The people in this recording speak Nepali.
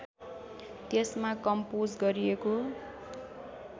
त्यसमा कम्पोज गरिएको